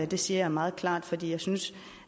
det siger jeg meget klart fordi jeg synes